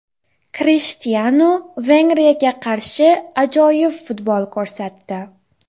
Krishtianu Vengriyaga qarshi ajoyib futbol ko‘rsatdi.